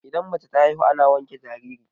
idan mace ta haihu ana wanke jariri